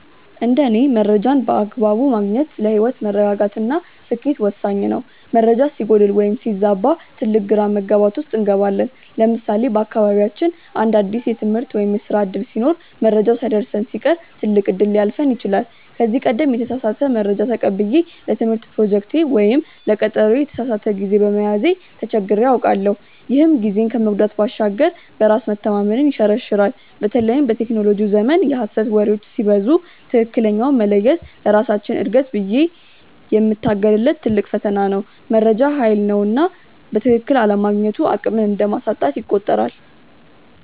እንደ እኔ መረጃን በአግባቡ ማግኘት ለህይወት መረጋጋት እና ስኬት ወሳኝ ነው። መረጃ ሲጎድል ወይም ሲዛባ ትልቅ ግራ መጋባት ውስጥ እንገባለን። ለምሳሌ በአካባቢያችን አንድ አዲስ የትምህርት ወይም የስራ ዕድል ሲኖር መረጃው ሳይደርሰን ሲቀር ትልቅ እድል ሊያልፈን ይችላል። ከዚህ ቀደም የተሳሳተ መረጃ ተቀብዬ ለትምህርት ፕሮጀክቴ ወይም ለቀጠሮዬ የተሳሳተ ጊዜ በመያዜ ተቸግሬ አውቃለሁ፤ ይህም ጊዜን ከመጉዳት ባሻገር በራስ መተማመንን ይሸረሽራል። በተለይም በቴክኖሎጂው ዘመን የሐሰት ወሬዎች ሲበዙ ትክክለኛውን መለየት ለራሳችን እድገት ብዬ የምታገልለት ትልቅ ፈተና ነው። መረጃ ሃይል ነውና በትክክል አለማግኘቱ አቅምን እንደማሳጣት ይቆጠራል።